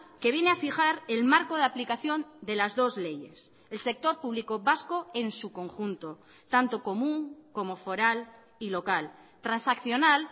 que viene a fijar el marco de aplicación de las dos leyes el sector público vasco en su conjunto tanto común como foral y local transaccional